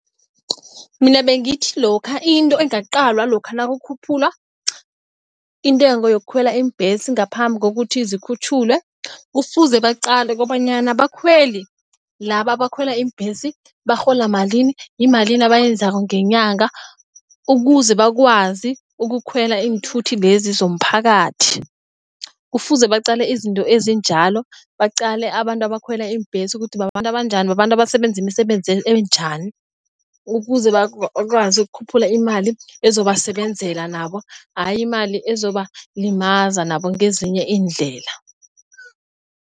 Mina bengithi lokha into engaqalwa lokha nakukhuphulwa intengo yokukhwela iimbhesi ngaphambi kokuthi zikhutjhulwe. Kufuze baqale kobanyana abakhweli laba abakhwela iimbhesi barhola malini. Yimalini abayenzako ngenyanga, ukuze bakwazi ukukhwela iinthuthi lezi zomphakathi. Kufuze baqale izinto ezinjalo. Baqale abantu abakhwela iimbhesi ukuthi bababantu banjani. Babantu abasebenza imisebenzi enjani. Ukuze bakwazi ukukhuphula imali ezobasebenzela nabo, ayi imali ezobalimaza nabo ngezinye iindlela.